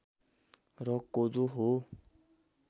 र कोदो हो